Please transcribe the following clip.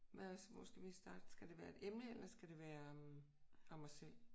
Hvad hvor skal vi starte? Skal det være et emne eller skal det være om os selv?